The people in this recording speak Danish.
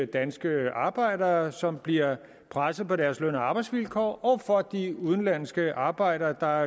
danske arbejdere som bliver presset på deres løn og arbejdsvilkår og for de udenlandske arbejdere der